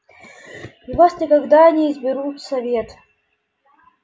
и вас никогда не изберут в совет